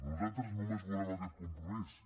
nosaltres només volem aquest compromís